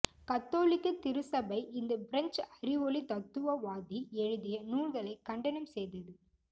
கத்தோலிக்க திருச்சபை இந்த பிரெஞ்சு அறிவொளி தத்துவவாதி எழுதிய நூல்களை கண்டனம் செய்தது